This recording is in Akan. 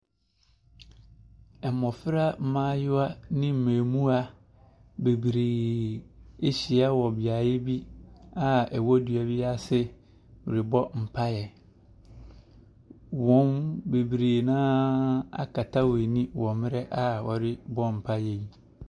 Mmofra maayewa ne mmamuwa bebree ahyia wɔ beaeɛ bi a ɛwɔ dua bi ase rebɔ mpaeɛ. Wɔn, bebree no a akata wɔn ani wɔ mmreɛ a wɔrebɔ mpaeɛ yi.